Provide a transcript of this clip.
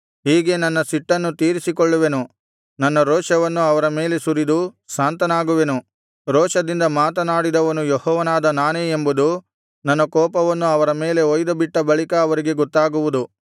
ಹೀಗೆ ನನ್ನ ಸಿಟ್ಟನ್ನು ತೀರಿಸಿಕೊಳ್ಳುವೆನು ನನ್ನ ರೋಷವನ್ನು ಅವರ ಮೇಲೆ ಸುರಿದು ಶಾಂತನಾಗುವೆನು ರೋಷದಿಂದ ಮಾತನಾಡಿದವನು ಯೆಹೋವನಾದ ನಾನೇ ಎಂಬುದು ನನ್ನ ಕೋಪವನ್ನು ಅವರ ಮೇಲೆ ಹೊಯ್ದುಬಿಟ್ಟ ಬಳಿಕ ಅವರಿಗೆ ಗೊತ್ತಾಗುವುದು